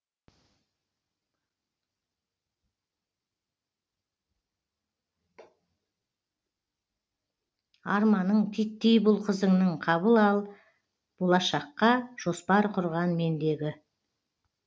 арманың титтей бұл қызыңның қабыл ал болашаққа жоспар құрған мендегі